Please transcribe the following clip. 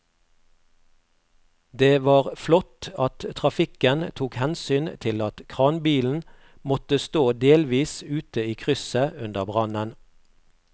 Det var flott at trafikken tok hensyn til at kranbilen måtte stå delvis ute i krysset under brannen.